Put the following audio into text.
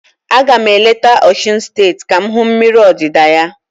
A ga m eleta Osun steeti ka m hụ mmiri odida ya.